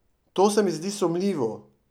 To se mi zdi sumljivo.